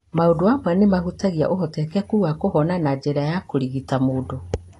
Maũndu amwe nĩ mahutagia ũhotekeku wa kũhona na njĩra cia kũrigita mũndũ.